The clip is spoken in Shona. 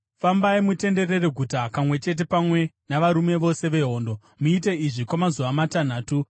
Fambai mutenderere guta kamwe chete pamwe navarume vose vehondo. Muite izvi kwamazuva matanhatu.